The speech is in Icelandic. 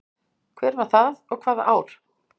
Hver var það og hvaða ár?